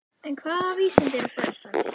En hvaða vísindi eru frelsandi?